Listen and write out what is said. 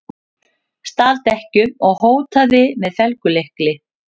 Stal dekkjum og hótaði með felgulykli